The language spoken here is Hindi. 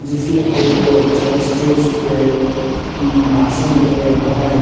जिसमें एगो बच्चा स्टेज पे उम भाषण दे रहा है।